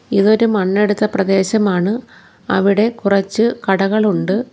ഇതൊരു മണ്ണെടുത്ത പ്രദേശമാണ് അവിടെ കുറച്ച് കടകൾ ഉണ്ട്.